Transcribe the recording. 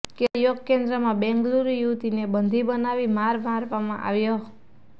કેરળ યોગ કેન્દ્રમાં બેંગ્લુરૂ યુવતીને બંધી બનાવી માર મારવામાં આવ્યો